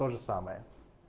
тоже самое